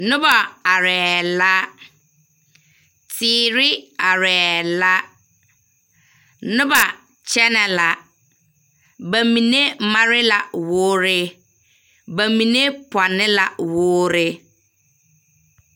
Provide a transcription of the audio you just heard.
Noba arɛɛ la, teere arɛɛ la. Noba kyɛnɛ la. Ba mine made la wore. Ba mine pɔnne la wore.